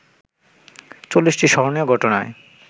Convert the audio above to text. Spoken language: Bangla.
৪০টি স্মরণীয় ঘটনায়